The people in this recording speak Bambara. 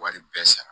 Wari bɛɛ sara